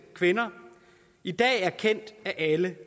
kvinder i dag er kendt af alle